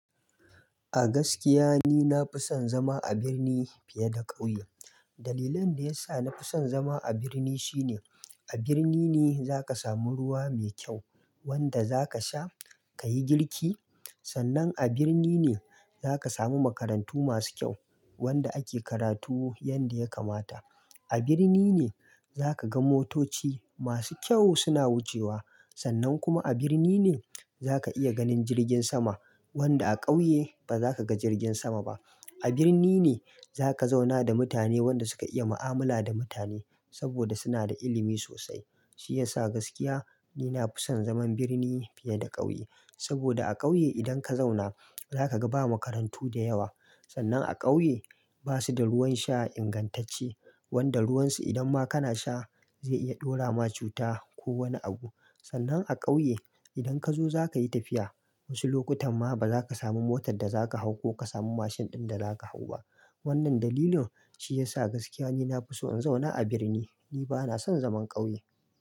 A gaskiya ni na fi son zama a birni fiye da ƙauye. Dalilan da ya sa na fi son zama a birni shine a birni ne za ka samu ruwa mai kyau wanda za ka sha ka yi girki. Sannan a birni ne za ka samu makarantu masu kyau wanda ake karatu yadda ya kamata. A birni ne za ka ga motoci masu kyau suna wucewa. Sannan kuma a birni ne za ka iya ganin jirgin sama wanda a ƙauye ba za ka ga jirgin sama ba. A birni ne za ka zauna da mutane wanda suka iya mu'amala da mutane saboda suna da ilimi sosai. Shi ya sa gaskiya ni na fi son zaman birni fiye da ƙauye saboda a ƙauye idan ka zauna, za ka ga ba makarantu da yawa. Sannan a ƙauye ba su da ruwan sha ingantacce wanda ruwansu idan ma kana sha zai iya ɗora ma cuta ko wani abu. Sannan a ƙauye idan ka zo za ka yi tafiya, wasu lokutan ma ba za ka samu motar da za ka hau ko ka samu mashin ɗin da za ka hau ba. Wannan dalilin shi ya sa gaskiya ni na fi so in zauna a birni. Ni ba na son zaman ƙauye.